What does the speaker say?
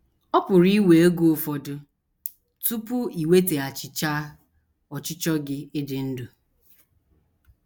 Ọ pụrụ iwe oge ụfọdụ tupu i nwetaghachichaa ọchịchọ gị ịdị ndụ.